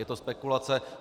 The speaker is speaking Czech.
Je to spekulace.